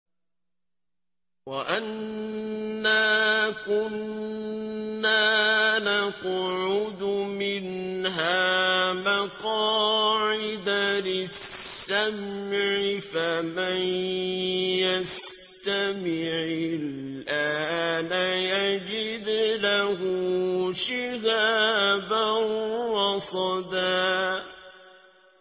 وَأَنَّا كُنَّا نَقْعُدُ مِنْهَا مَقَاعِدَ لِلسَّمْعِ ۖ فَمَن يَسْتَمِعِ الْآنَ يَجِدْ لَهُ شِهَابًا رَّصَدًا